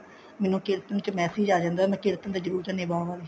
ਮੈਨੂੰ ਕੀਰਤਨ ਚ message ਆ ਜਾਂਦਾ ਮੈਂ ਕੀਰਤਨ ਤੇ ਜਰੂਰ ਜਾਂਦੀ ਹਾਂ ਬਾਹਰ